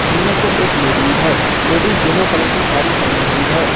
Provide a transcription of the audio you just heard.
उनमें से एक लेडीज हैं लेडीज येलो कलर की साड़ी पहनी हुई है।